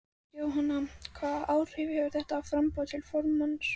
Jóhanna: Hvaða áhrif hefur þetta á framboð til formanns?